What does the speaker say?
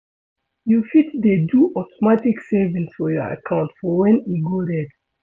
You fit dey do automatic savings for your account for when e go red